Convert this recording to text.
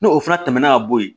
N'o fana tɛmɛna ka bɔ yen